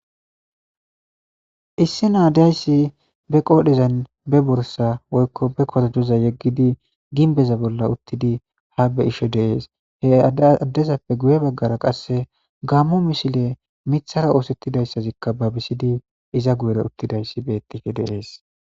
issi naa dayssi be qoodhezan be borsa woykko be kotajoza yeggidi ginbeza bolla uttidi ha be ishe deees he aaddezappe guye baggara qasse gammo mishile mithara oosettidayssazikka ba bisidi iza guyere uttidayssi beettike deees